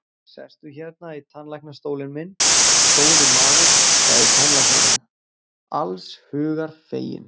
Sestu hérna í tannlæknastólinn minn, góði maður, sagði tannlæknirinn, alls hugar feginn.